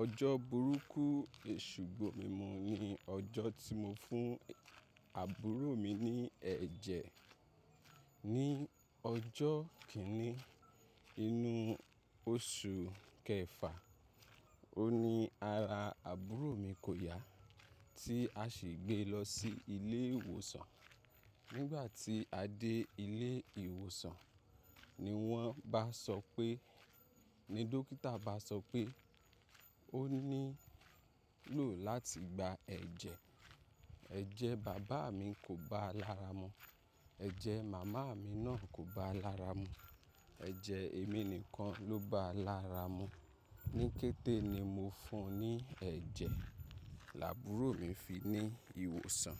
Ọjọ́ burúkú èṣu-gbomimu ni ọjọ́ tí mo fún àbúrò mi ní ẹ̀jẹ̀. Ni ọjọ́ kíní inú oṣù kẹfà, óun ní ara àbúrò mi kò yá tí a sì gbé lọ sí ilé ìwòsàn. Nígbà tí a dé ilé ìwòsàn ni wọ́n bá sọ pé, ni dókítà bá sọ pé, ó nílò láti gba ẹ̀jẹ̀. Ẹ̀jẹ̀ bàbá mi kò báa lára mu, ẹ̀jẹ̀ màmá mi náà kò báa lára mu, ẹ̀jẹ̀ èmi nìkan ló báa lára mu. Ni kété ni mo fún un ní ẹ̀jẹ̀, labúrò mi fi ní ìwòsàn.